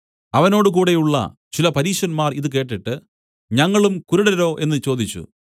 അവനോടുകൂടെയുള്ള ചില പരീശന്മാർ ഇതു കേട്ടിട്ട് ഞങ്ങളും കുരുടരോ എന്നു ചോദിച്ചു